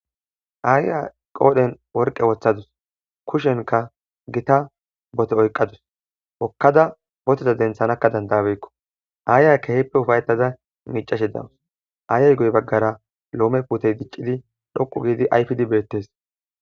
aayya qoodhen worqe wothadus kushenka gita bote oyqadus okkada boteza denthanakka dandabekko aaya keheippe ufayetada miicashe dawus aayay guye baggara loome putey diccidi dhoqu giidi ayfidi beettes